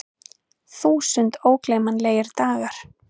Þúsund ógleymanlegir dagar.